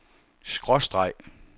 skråstreg